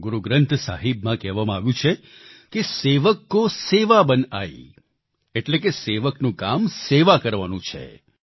ગુરુગ્રંથ સાહિબમાં કહેવામાં આવ્યું છે સેવક કો સેવા બન આઈ એટલે કે સેવકનું કામ સેવા કરવાનું છે